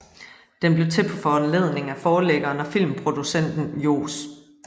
Den blev til på foranledning af forlæggeren og filmproducenten Johs